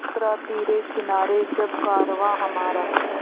उतरा तिरे किनारे जब कारवाँ हमारा